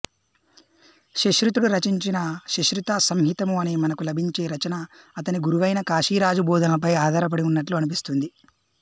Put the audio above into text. శుశ్రుతుడు రచించిన శుశ్రుత సంహితము అనే మనకు లభించే రచన అతని గురువైన కాశీరాజు బోధనలపై ఆధారపడి ఉన్నట్లు అనిపిస్తుంది